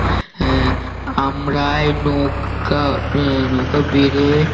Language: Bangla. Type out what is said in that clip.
আহ আমরা এই নৌকা আহ নৌকা বেড়ে